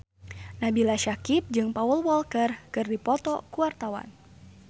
Nabila Syakieb jeung Paul Walker keur dipoto ku wartawan